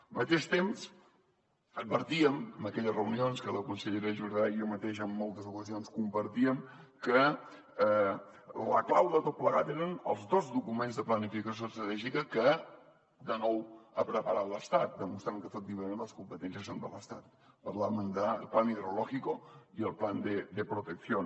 al mateix temps advertíem en aquelles reunions que la consellera jordà i jo mateix en moltes ocasions compartíem que la clau de tot plegat eren els dos documents de planificació estratègica que de nou ha preparat l’estat demostrant que efectivament les competències són de l’estat parlàvem del plan hidrológico i el protección